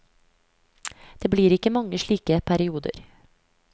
Det blir ikke mange slike perioder.